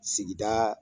Sigida